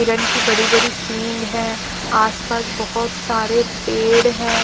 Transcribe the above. हिरन की बड़ी बड़ी सिंग है आसपास बोहोत सारे पेड़ है।